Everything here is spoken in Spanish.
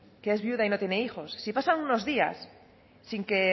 que es viuda y no tiene hijos si pasan unos días sin que